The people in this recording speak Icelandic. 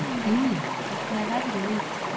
Júlí, hvernig er veðrið úti?